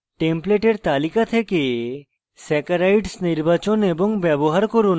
টেমপ্লেটের তালিকা থেকে saccharides নির্বাচন এবং ব্যবহার করুন